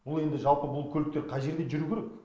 ол енді жалпы бұл көліктер қай жерде жүру керек